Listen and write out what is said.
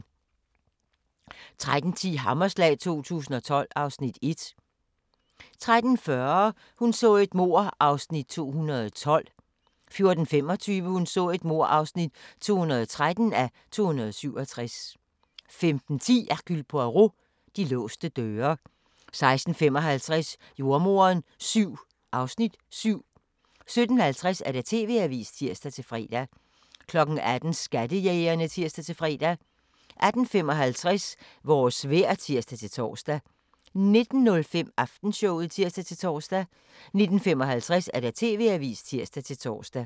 13:10: Hammerslag 2012 (Afs. 1) 13:40: Hun så et mord (212:267) 14:25: Hun så et mord (213:267) 15:10: Hercule Poirot: De låste døre 16:55: Jordemoderen VII (Afs. 7) 17:50: TV-avisen (tir-fre) 18:00: Skattejægerne (tir-fre) 18:55: Vores vejr (tir-tor) 19:05: Aftenshowet (tir-tor) 19:55: TV-avisen (tir-tor)